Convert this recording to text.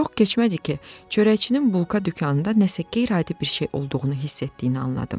Çox keçmədi ki, çörəkçinin bulka dükanında nəsə qeyri-adi bir şey olduğunu hiss etdiyini anladım.